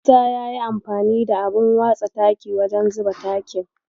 Musa yayi amfani da abun watsa taki wajen zuba takin.